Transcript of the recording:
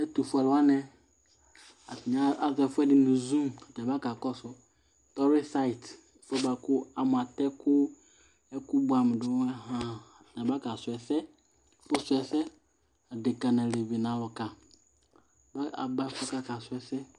Ɛtʋ fue alʋ wanɩ ,atanɩ azɔ ɛfʋɛdɩ nʋ zung atanɩ aba kakɔsʋ dɔrɩsaɩt , ɛfʋɛ bʋa kʋ ,a mʋatɛkʋ, ɛkʋ bʋɛamʋ dʋ ahanAba ka sʋ ɛsɛ ,ɛfʋ sʋɛsɛAdekǝ n' alevi ,nʋ alʋka mɛ aba aka sʋɛsɛ